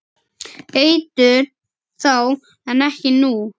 Eitur þá en ekki nú?